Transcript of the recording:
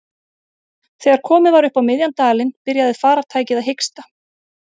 Þegar komið var upp á miðjan dalinn byrjaði farartækið að hiksta.